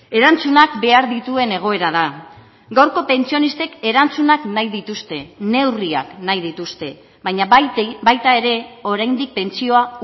erantzunak behar dituen egoera da gaurko pentsionistek erantzunak nahi dituzte neurriak nahi dituzte baina baita ere oraindik pentsioa